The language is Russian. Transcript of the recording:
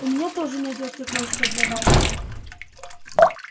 у меня тоже найдётся кое-что для вас